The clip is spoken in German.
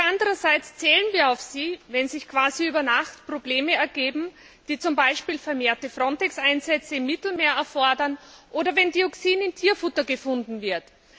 Andererseits zählen wir auf sie, wenn sich quasi über Nacht Probleme ergeben, die zum Beispiel vermehrte FRONTEX Einsätze im Mittelmeer erfordern, oder wenn Dioxin in Tierfutter gefunden wird.